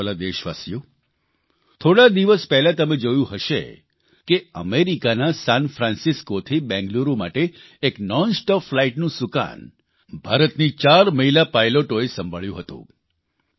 મારા વ્હાલા દેશવાસીઓ થોડા દિવસ પહેલાં તમે જોયું હશે કે અમેરિકાના સાનફ્રાન્સિસ્કોથી બેંગલુરૂ માટે એક નોનસ્ટોપ ફલાઇટનું સૂકાન ભારતની ચાર મહિલા પાઇલોટોએ સંભાળ્યું હતું